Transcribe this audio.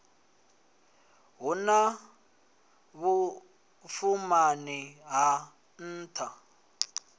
hu na vhuṱumani ha nṱha